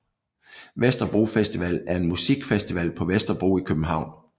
Vesterbro Festival er en musikfestival på Vesterbro i København